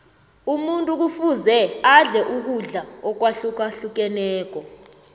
umuntu kufuze adle ukudla akwahlukahlukeneko